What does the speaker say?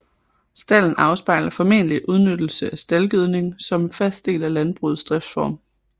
Stalden afspejler formentlig udnyttelse af staldgødning som en fast del af landbrugets driftsform